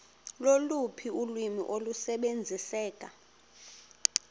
loluphi ulwimi olusebenziseka